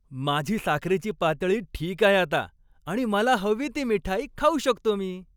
माझी साखरेची पातळी ठीक आहे आता आणि मला हवी ती मिठाई खाऊ शकतो मी.